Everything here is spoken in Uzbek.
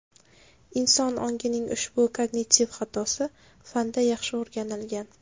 Inson ongining ushbu kognitiv xatosi fanda yaxshi o‘rganilgan.